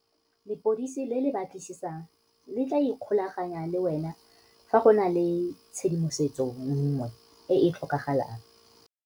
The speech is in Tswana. Lepodisi le le batlisisang le tla ikgolaganya le wena fa go na le tshedimosetso nngwe e e tlhokagalang.